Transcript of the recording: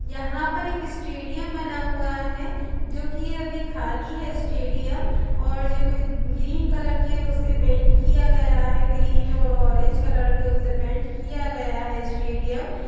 यहाँ पर एक स्टेडियम बना हुआ है जो की यह अभी खाली है स्टेडियम और जो की ग्रीन कलर उसे पेंट किया गया है ग्रीन और ऑरेंज कलर के उससे उसे पेंट किया गया है स्टेडियम --